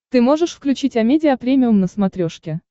ты можешь включить амедиа премиум на смотрешке